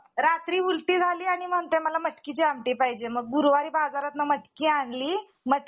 माझा एक friend आहे तो एक त्या team चा कप्तान आहे आम्ही cricket एक group मध्ये खेळात किंवा त्याला एक numbering असा खेळतात